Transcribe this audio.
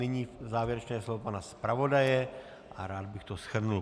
Nyní závěrečné slovo pana zpravodaje a rád bych to shrnul.